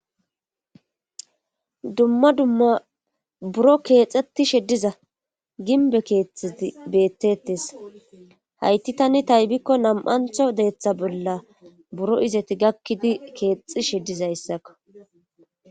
Dumma dumma buro keexxetishe diza ginbe keettiti beettetes hayti tani taybikko nam7antho deeththa bolla buro izeti gakkidi keexishe dizayssakko